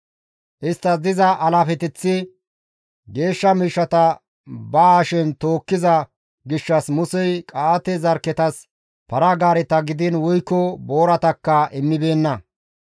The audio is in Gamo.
Isttas diza alaafeteththi geeshsha miishshata ba hashen tookkiza gishshas Musey Qa7aate zarkketas para-gaareta gidiin woykko booratakka immibeenna.